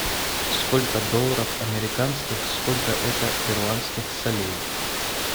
сколько долларов американских сколько это перуанских солей